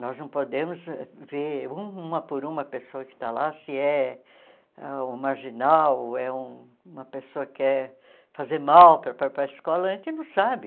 Nós não podemos ver uma por uma pessoa que está lá, se é um marginal, é uma pessoa que quer fazer mal para para para a escola, a gente não sabe.